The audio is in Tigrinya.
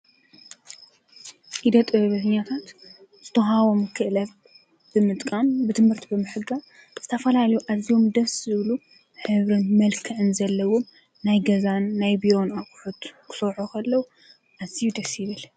ኢደ ጥበበኛታት ዝተወሃቦም ክእለትን በትምህርቲ ዝረኸብዎም ዓቅሚ ብምጥቃም ዝተፈላለዩ ኣቅሑ ገዛ ዝሰርሕዎም እዮም።